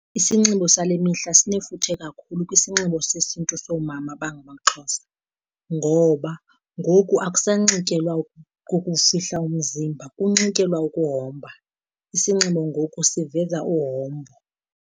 Isinxibo sale mihla sinefuthe kakhulu kwisinxibo sesiNtu soomama abangamaXhosa, ngoba ngoku akusanxityelwa ukufihla umzimba kunxityelwa ukuhomba. Isinxibo ngoku siveza uhombo.